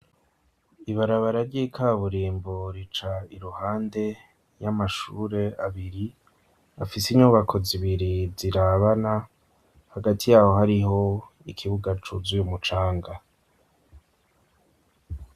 Ibarabara ry'ikaburimbo rica iruhande y'amashure abiri afise inyubako zibiri zirabana hagati yaho hariho ikibuga cuzuy'umucanga.